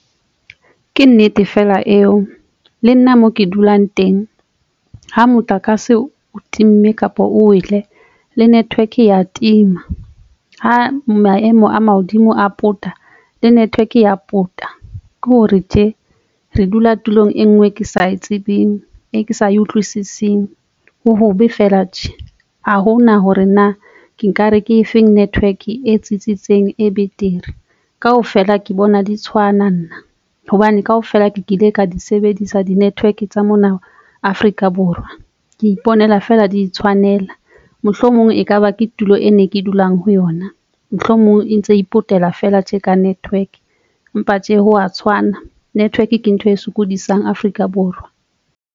Ke nnete fela eo le nna mo ke dulang teng ha motlakase o timme kapa o wele le network e ya tima ha maemo a mahodimo a pota le network ya pota ke hore tje re dula tulong e nngwe ke sa e tsebeng, e ke sa e utlwisising. Ho hobe fela tjhe ha hona hore na ke nkare ke efeng network e tsitsitseng e betere kaofela ke bona di tshwana nna hobane kaofela ke kile ka di sebedisa di network tsa mona Afrika Borwa. Ke iponela feela di I tshwanela mohlomong ekaba ke tulo e ne ke dulang ho yona, mohlomong e ntse ipotela fela tje ka network empa tje hwa tshwana network ke ntho e sokodisang Afrika Borwa.